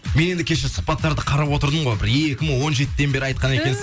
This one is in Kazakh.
мен енді кеше сұхбаттарды қарап отырдым ғой бір екі мың он жетіден бері айтқан екенсіз